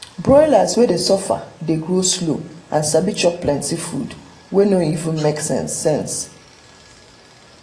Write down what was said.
broilers wey dey suffer dey grow slow and sabi chop plenty food wey no even make sense sense